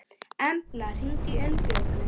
Embla, hringdu í Unnbjörgu.